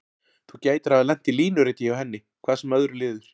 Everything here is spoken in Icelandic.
Þú gætir hafa lent í línuriti hjá henni, hvað sem öðru líður.